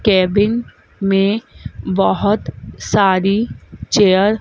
cabin में बहुत सारी चेयर --